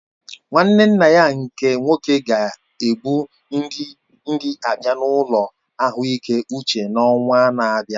Nwanne nna ya nke nwoke ga ebu nri abịa na ụlọ ahụike uche n'ọnwa na-abịa